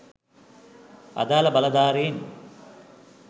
අදාල බලධාරීන්